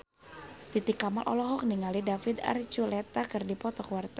Titi Kamal olohok ningali David Archuletta keur diwawancara